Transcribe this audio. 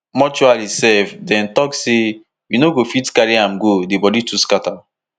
mortuary sef dem tok say we no go fit carry am go say di body too scata